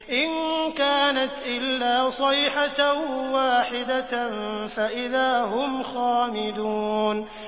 إِن كَانَتْ إِلَّا صَيْحَةً وَاحِدَةً فَإِذَا هُمْ خَامِدُونَ